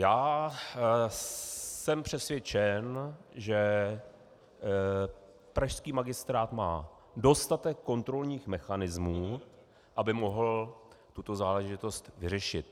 Já jsem přesvědčen, že pražský magistrát má dostatek kontrolních mechanismů, aby mohl tuto záležitost vyřešit.